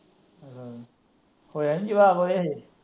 ਹੋਇਆ ਨਹੀਂ ਜਵਾਕ ਓਹਦੇ ਹਲੇ।